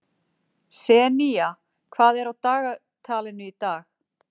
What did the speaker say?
Senía, hvað er á dagatalinu í dag?